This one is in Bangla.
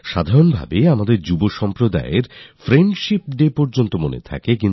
সাধারণভাবে আমাদের যুব প্রজন্ম FriendshipDayসর্বদা মনে রাখে